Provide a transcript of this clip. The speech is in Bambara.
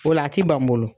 O la a ti ban n bolo